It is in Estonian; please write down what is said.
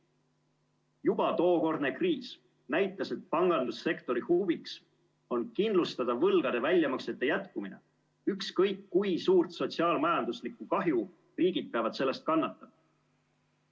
Juba tookordne kriis näitas, et pangandussektori huvi on kindlustada võlgade väljamaksete jätkumine, ükskõik kui suurt sotsiaal-majanduslikku kahju riigid peavad selle tõttu kannatama.